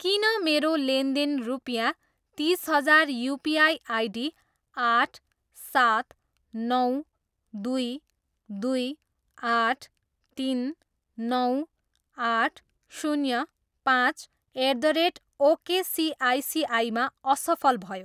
किन मेरो लेनदेन रुपियाँ तिस हजार युपिआई आइडी आठ, सात, नौ, दुई, दुई, आठ, तिन, नौ, आठ, शून्य, पाँच एट द रेट ओकेसिआइसिआईमा असफल भयो?